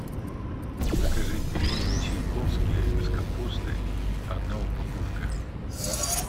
закажи пельмени чайковские с капустой одна упаковка